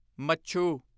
ਮੱਛੂ